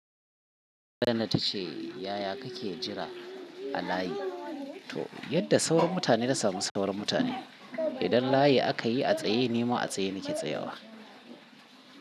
Nan ta ce yaya kake jira a layi to? Yadda sauran mutane na samu sauran mutane. Idan layi aka yi a tsaye, ni ma a tsaye nake tsayawa.